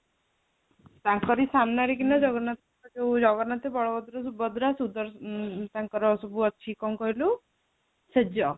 ତାଙ୍କରି ସାମ୍ନାରେ କିନା ଜଗନ୍ନାଥ ଯୋଉଁ ଜଗନ୍ନାଥ ବଳଭଦ୍ର ସୁଭଦ୍ରା ସୁଦର୍ଶନ ଉଁ ତାଙ୍କର ସବୁ ଅଛି କଣ କହିଲୁ ଶେଜ ଯାଇକି pପହଂଚିଲୁ ଯାଇକି